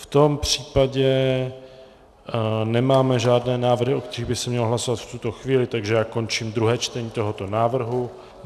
V tom případě nemáme žádné návrhy, o kterých by se mělo hlasovat v tuto chvíli, takže já končím druhé čtení tohoto návrhu.